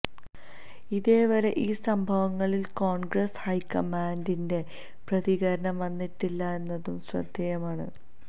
ഇതേവരെ ഈ സംഭവങ്ങളിൽ കോൺഗ്രസ് ഹൈക്കമാൻഡിന്റെ പ്രതികരണം വന്നിട്ടില്ല എന്നതും ശ്രദ്ധേയമാണ്